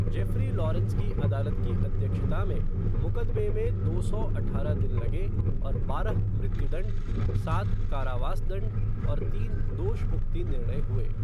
Jeffrey Lawrence की अदालत की अध्यक्षता में, मुकदमे में दो सौ अठारह दिन लगे और बारह मृत्यु दण्ड, सात कारावास दण्ड और तीन दोषमुक्ति निर्णय हुए।